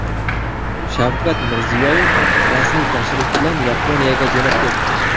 Shavkat Mirziyoyev rasmiy tashrif bilan Yaponiyaga jo‘nab ketdi.